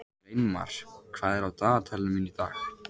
Sveinmar, hvað er á dagatalinu mínu í dag?